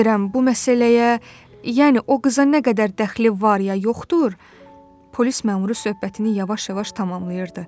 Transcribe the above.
Bilmirəm bu məsələyə, yəni o qıza nə qədər dəxli var ya yoxdur, polis məmuru söhbətini yavaş-yavaş tamamlayırdı.